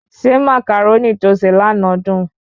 Ṣé Màcàrónì tó se lànà dùn?